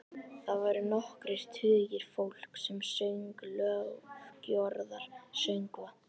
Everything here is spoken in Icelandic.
Þar voru nokkrir tugir fólks sem söng lofgjörðarsöngva.